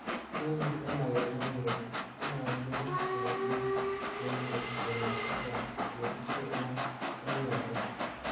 Inoni komakemwa kele, kimwochini ng'etik che echen komat kobwa, kosiibge ak nekikobwa.